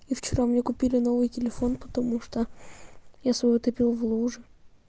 и вчера мне купили новый телефон потому что я свой утопил в луже